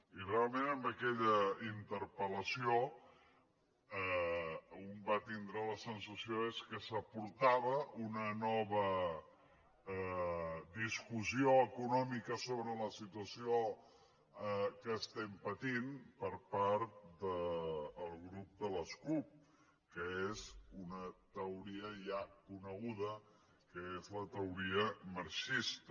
i realment amb aquella interpel·lació un va tindre la sensació que s’aportava una nova discussió econòmica sobre la situació que estem patint per part del grup de les cup que és una teoria ja coneguda que és la teo·ria marxista